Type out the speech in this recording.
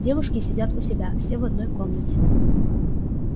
девушки сидят у себя все в одной комнате